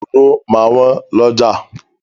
Òróró máa wọ́n lọ́jà.